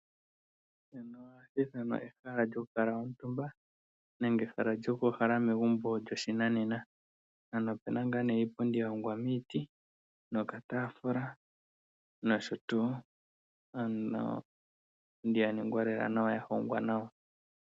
Ehala lyokukuutumba nenge lyokuuhala megumbo lyoshinanena. Ano omuna iipundi ya hongwa miiti nokataafula nosho tuu. Iipundi ya ningwa nawa ya hongwa nawa.